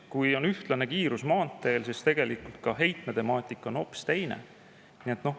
Kui maanteel on ühtlane kiirus, siis on heitmetemaatika hoopis teine.